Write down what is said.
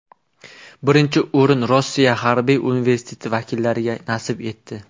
Birinchi o‘rin Rossiya Harbiy universiteti vakillariga nasib etdi.